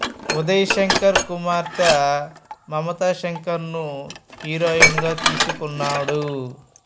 ఉదయ్ శంకర్ కుమార్తె మమతా శంకర్ ను హీరోయిన్ గా తీసుకున్నాడు